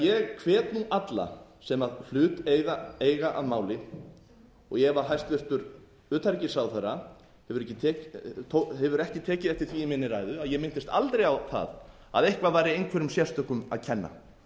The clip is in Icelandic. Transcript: ég hvet alla sem hlut eiga að máli og ef hæstvirtur utanríkisráðherra hefur ekki tekið eftir því í minni ræðu að ég minntist aldrei á það að eitthvað væri einhverjum sérstökum að kenna